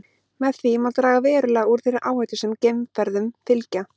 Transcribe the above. Með því má draga verulega úr þeirri áhættu sem geimferðum fylgja.